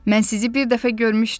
Mən sizi bir dəfə görmüşdüm.